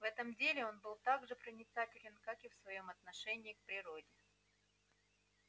в этом деле он был так же проницателен как и в своём отношении к природе